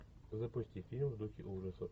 запусти фильм в духе ужасов